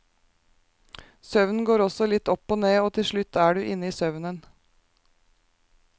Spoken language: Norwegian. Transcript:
Søvnen går også litt opp og ned, og til slutt er du inne i søvnen.